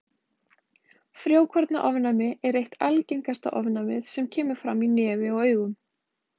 Frjókornaofnæmi er eitt algengasta ofnæmið sem kemur fram í nefi og augum.